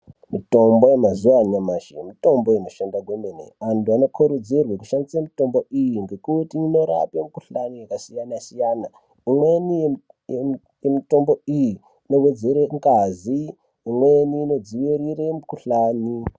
Mitombo yemazuva anyamashi mitombo inoshanda kwemene. Anhu anokurudzirwa kushandisa mitombo iyi ngekuti inorape mikuhlani yakasiya-siyana. Imweni yemitombo iyi inowedzere ngazi imweni inodzivirire mikuhlani